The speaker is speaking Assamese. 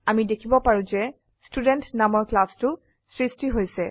আমি দেখিব পাৰো যে ষ্টুডেণ্ট নামৰ ক্লাসটো স্ৃস্টি হৈছে